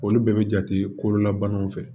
Olu bɛɛ bɛ jate kolola banaw fɛ